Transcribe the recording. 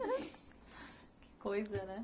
Que coisa, né?